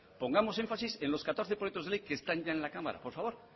pongamos énfasis en los catorce proyectos de ley que están ya en la cámara por favor